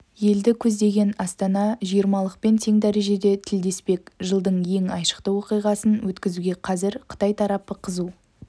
елді көздеген астана жиырмалықпен тең дәрежеде тілдеспек жылдың ең айшықты оқиғасын өткізуге қазір қытай тарапы қызу